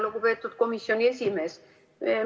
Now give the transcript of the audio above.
Lugupeetud komisjoni esimees!